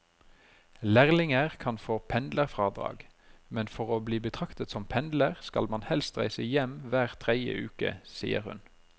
Lærlinger kan få pendlerfradrag, men for å bli betraktet som pendler skal man helst reise hjem hver tredje uke, sier hun.